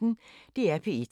DR P1